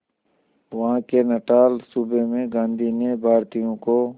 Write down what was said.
वहां के नटाल सूबे में गांधी ने भारतीयों को